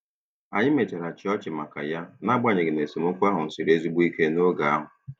Anyị mechara chịa ọchị maka ya, n’agbanyeghị na esemokwu ahụ siri ezigbo ike n’oge ahụ.